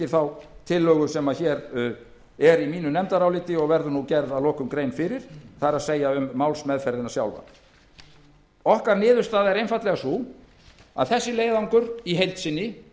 þá tillögu sem er í nefndaráliti mínu og verður nú að lokum gerð grein fyrir það er um málsmeðferðina sjálfa niðurstaða okkar er einfaldlega sú að þessi leiðangur sé í heild sinni